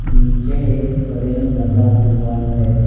नीचे एक करेन लगा हुआ है।